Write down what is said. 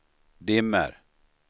dimmer